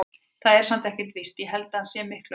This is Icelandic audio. Það er samt ekkert víst. ég held að hann sé miklu eldri.